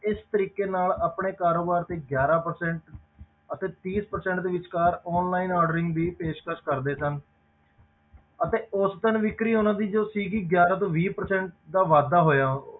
ਇਸ ਤਰੀਕੇ ਨਾਲ ਆਪਣੇ ਕਾਰੋਬਾਰ ਦੀ ਗਿਆਰਾਂ percent ਅਤੇ ਤੀਹ percent ਦੇ ਵਿਚਕਾਰ online ordering ਦੀ ਪੇਸ਼ਕਸ ਕਰਦੇ ਸਨ ਅਤੇ ਉਸ ਦਿਨ ਵਿੱਕਰੀ ਉਹਨਾਂ ਦੀ ਜੋ ਸੀਗੀ ਗਿਆਰਾਂ ਤੋਂ ਵੀਹ percent ਦਾ ਵਾਧਾ ਹੋਇਆ।